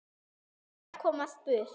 Ég varð að komast burt.